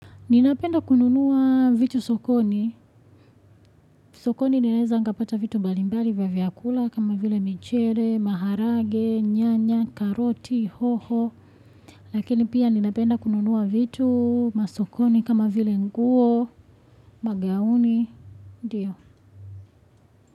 Ninapenda kununua vitu sokoni. Sokoni naeza nikapata vitu mbali mbali vya vyakula kama vile michele, maharage, nyanya, karoti, hoho. Lakini pia ninapenda kununua vitu masokoni kama vile nguo, magauni, ndio.